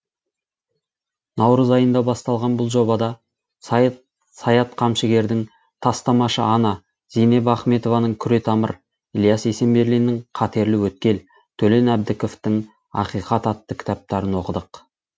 наурыз айында басталған бұл жобада саят қамшыгердің тастамашы ана зейнеп ахметованың күретамыр ілияс есенберлиннің қатерлі өткел төлен әбдіковтың ақиқат атты кітаптарын оқыдық